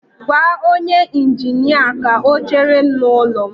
Gwa onye injinia ka ọ chere m n'ụlọ m